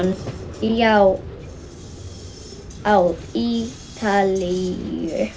Já, á Ítalíu.